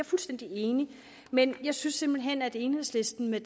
fuldstændig enig men jeg synes simpelt hen at enhedslisten med